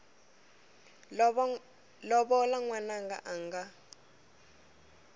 lovola n wananga a nga